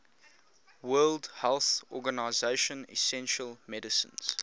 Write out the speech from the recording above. world health organization essential medicines